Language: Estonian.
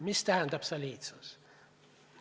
Mis tähendab soliidsus?